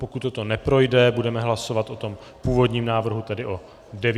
Pokud toto neprojde, budeme hlasovat o tom původním návrhu, tedy od 9 hodin.